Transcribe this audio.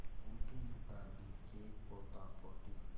बूढ़ी दादी के पोतापोती